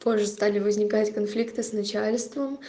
позже стали возникать конфликты с начальством